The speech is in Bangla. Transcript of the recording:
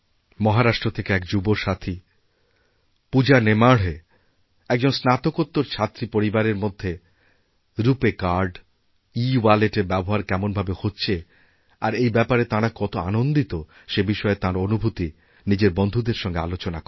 মহারাষ্ট্র থেকে এক যুব সাথী পূজা নেমাঢ়ে একজন স্নাতকোত্তরছাত্রী পরিবারের মধ্যে রূপে কার্ড ইওয়ালেটএর ব্যবহার কেমন ভাবে হচ্ছে আর এইব্যাপারে তাঁরা কত আনন্দিত সেই বিষয়ে তাঁর অনুভূতি নিজের বন্ধুদের সঙ্গে আলোচনাকরেন